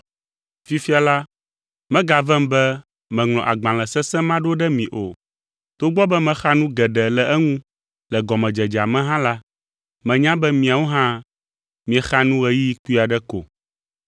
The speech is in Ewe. Fifia la, megavem be meŋlɔ agbalẽ sesẽ ma ɖo ɖe mi o, togbɔ be mexa nu geɖe le eŋu le gɔmedzedzea me hã la, menya be miawo hã miexa nu ɣeyiɣi kpui aɖe ko.